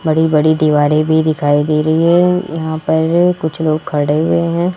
बड़ी बड़ी दीवारें भी दिखाई दे रही है यहां पर कुछ लोग खड़े हुए हैं।